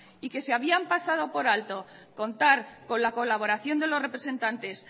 y que se habían pasado por alto contar con la colaboración de los representantes